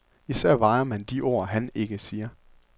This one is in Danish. Især vejer man de ord, han ikke siger.